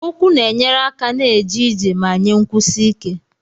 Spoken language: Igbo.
Ụkwụ na-enyere aka na-eje ije ma nye nkwụsi ike.